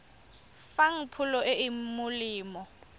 fang pholo e e molemo